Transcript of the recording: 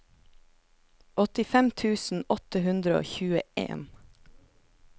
åttifem tusen åtte hundre og tjueen